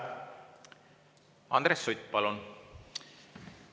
Andres Sutt, palun!